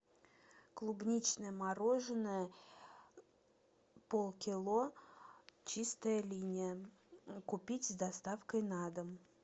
клубничное мороженое полкило чистая линия купить с доставкой на дом